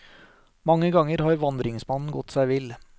Mange ganger har vandringsmannen gått seg vill.